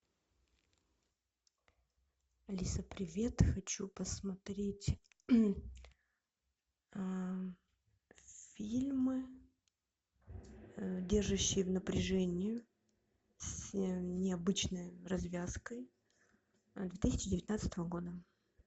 алиса привет хочу посмотреть фильмы держащие в напряжении с необычной развязкой две тысячи девятнадцатого года